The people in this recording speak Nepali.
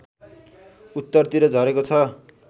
उत्तरतिर झरेको छ